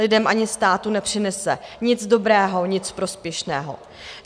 Lidem ani státu nepřinese nic dobrého, nic prospěšného.